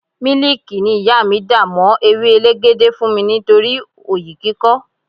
Miliki ni ìyá mi dà mó ewé elegede fún mi nítorí oyi kíkọ́.